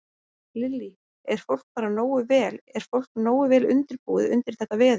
Lillý: Er fólk bara nógu vel, er fólk nógu vel undirbúið undir þetta veður?